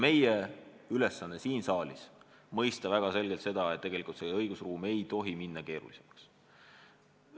Meie ülesanne siin saalis on mõista väga selgelt seda, et tegelikult ei tohi õigusruum minna keerulisemaks.